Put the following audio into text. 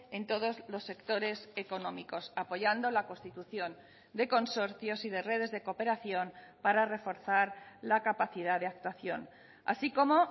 en todos los sectores económicos apoyando la constitución de consorcios y de redes de cooperación para reforzar la capacidad de actuación así como